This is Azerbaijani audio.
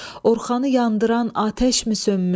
Orxanı yandıran atəşmi sönmüş?